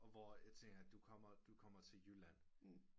Og hvor jeg tænker du kommer til Jylland